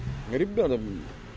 ребята